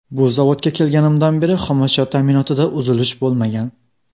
Bu zavodga kelganimdan beri xomashyo ta’minotida uzilish bo‘lmagan.